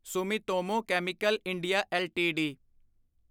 Sumitomo chemical India LTD